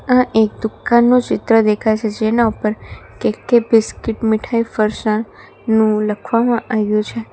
આ એક દુકાનનું ચિત્ર દેખાય છે જેના ઉપર કે કે બિસ્કીટ મીઠાઈ ફરસાણ નું લખવામાં આય્વુ છે.